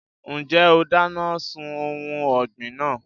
Ǹjẹ́ o dáná sun ohun ọ̀gbìn náà?